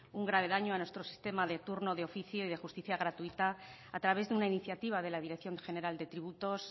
un grave daño a nuestro sistema de turno de oficio y de justicia gratuita a través de una iniciativa de la dirección general de tributos